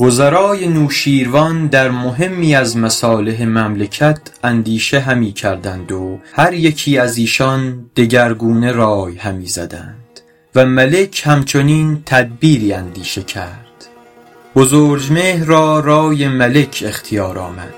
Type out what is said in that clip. وزرای نوشیروان در مهمی از مصالح مملکت اندیشه همی کردند و هر یکی از ایشان دگرگونه رای همی زدند و ملک هم چنین تدبیری اندیشه کرد بزرجمهر را رای ملک اختیار آمد